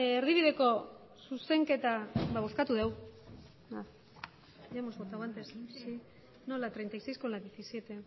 erdibideko zuzenketa bozkatu dugu ya hemos votado antes no la treinta y seis con la diecisiete